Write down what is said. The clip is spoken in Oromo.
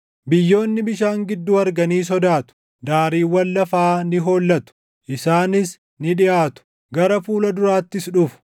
Biyyoonni bishaan gidduu arganii sodaatu; daariiwwan lafaa ni hollatu. Isaanis ni dhiʼaatu; gara fuula duraattis dhufu;